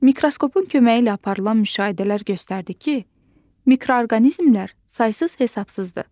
Mikroskopun köməyi ilə aparılan müşahidələr göstərdi ki, mikroorqanizmlər saysız-hesabsızdır.